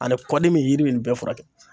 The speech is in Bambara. Ani kɔdimi ,yiri bɛ nin bɛɛ furakɛ.